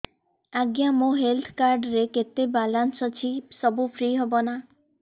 ଆଜ୍ଞା ମୋ health card ରେ କେତେ ବାଲାନ୍ସ ଅଛି ସବୁ ଫ୍ରି ହବ ନାଁ